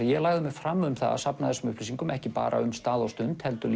ég lagði mig fram um að safna þessum upplýsingum ekki bara um stað og stund heldur